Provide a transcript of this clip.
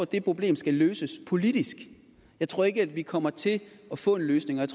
det problem skal løses politisk jeg tror ikke at vi kommer til at få en løsning og